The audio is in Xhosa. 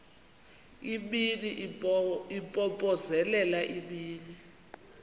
imini impompozelela imini